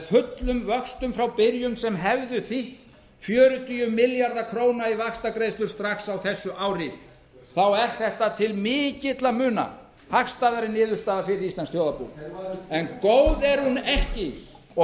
fullum vöxtum frá byrjun sem hefði þýtt fjörutíu milljarða að í vaxtagreiðslur strax á þessu ári þá er þetta til mikilla muna hagstæðari niðurstaða fyrir íslenskt þjóðarbú en góð er hún ekki og